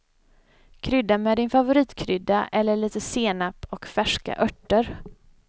Krydda med din favoritkrydda eller lite senap och färska örter.